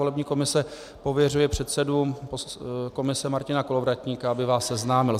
Volební komise pověřuje předsedu komise Martina Kolovratníka, aby vás seznámil